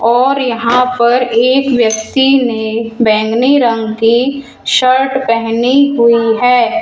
और यहां पर एक व्यक्ति ने बैंगनी रंग की शर्ट पहनी हुई है।